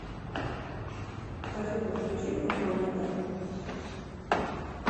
афина включи хофманита